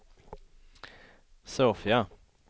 Sofia